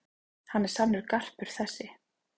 Hann er sannur garpur þessi.